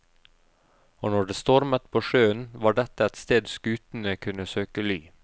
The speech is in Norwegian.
Og når det stormet på sjøen, var dette et sted skutene kunne søke ly.